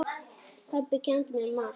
Pabbi kenndi mér margt.